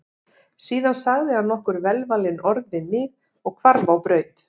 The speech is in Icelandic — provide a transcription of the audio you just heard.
Síðan sagði hann nokkur velvalin orð við mig og hvarf á braut.